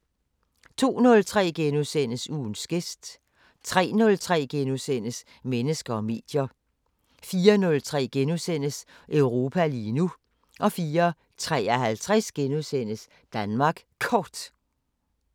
02:03: Ugens gæst * 03:03: Mennesker og medier * 04:03: Europa lige nu * 04:53: Danmark Kort *